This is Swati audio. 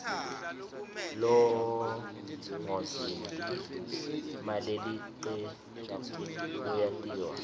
longozinti malelicebnbu uyatiwa